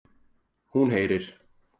Hún heyrir.